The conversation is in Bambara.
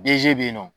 be yen nɔ